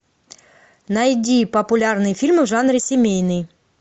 найди популярные фильмы в жанре семейный